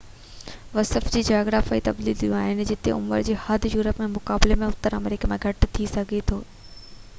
وصف کي جاگرافيائي تبديليون آهن جتي عمر جي حد يورپ جي مقابلي ۾ اتر آمريڪا ۾ گهٽ ٿي سگهي ٿي